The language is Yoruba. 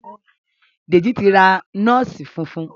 Deji tí ra nọọsi fufun.